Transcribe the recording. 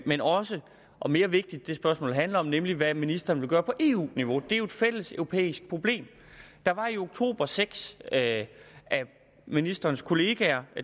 men også og mere vigtigt det spørgsmålet handler om nemlig hvad ministeren vil gøre på eu niveau det er jo et fælleseuropæisk problem der var i oktober seks af ministerens kollegaer